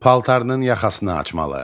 Paltarının yaxasını açmalı.